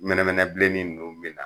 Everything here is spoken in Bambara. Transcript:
Mɛnɛmɛnɛ bilennin ninnu be na